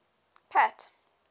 pat